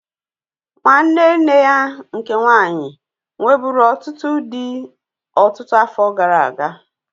Nwanne nne ya nke nwaanyị nwebụ̀ru ọtụtụ dị ọtụtụ afọ gara aga.